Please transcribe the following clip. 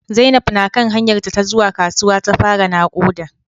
Zainab na kan hanyarta ta zuwa kasuwa ta fara nakuda